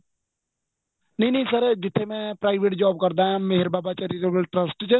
ਨਹੀਂ ਨਹੀਂ sir ਜਿੱਥੇ ਮੈਂ private job ਕਰਦਾ ਆ ਮੇਹਰ ਬਾਬਾ charitable trust ਚ